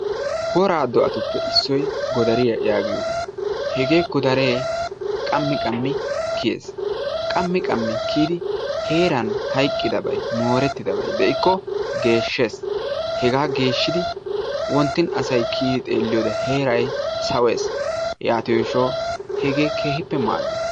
woraa do'atuppe issoy godariya yaaggiyoogaa. Hegee Godaree qammi qammi kiyyees. Qammi qammi kiyidi heeran hayqqidabay moorettidabay de'ikko geeshshees. Hega geeshshidi wonttin asay kiyidi xeelliyoode heeray sawees. Yaatiyo gishshawu hegee keehippe maaddees.